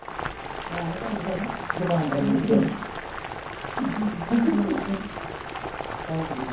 ਮੈਂ ਨੀ ਜਾਂਦੀ ਪੈਣੇ ਜ਼ੁਬਾਨ ਬੜੀ ਇਹਦੀ ਗਿੱਠ ਪਾਉਂਕਦੀ ਬੜਾ।